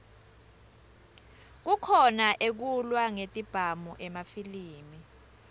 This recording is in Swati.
kukhona ekulwa ngetibhamu emafilimi